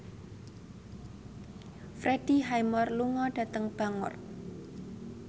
Freddie Highmore lunga dhateng Bangor